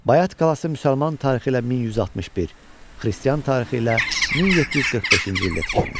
Bayat qalası müsəlman tarixi ilə 1161, xristian tarixi ilə 1745-ci ildə tikilmişdi.